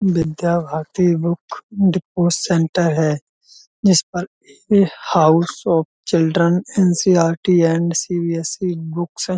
विद्या Bharati book depot centre है। जिस पर a house of children NCRT and CBSE book --